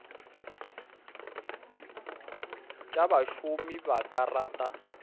tša bašomi ba ka rata